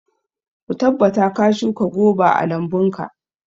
Ka tabbata ka shuka goba a lambunka.